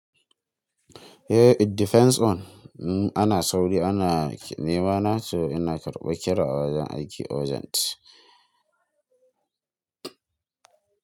Eh it depends on. Ana sauri ana nemana to ina karɓa kira a wajen aiki urgent.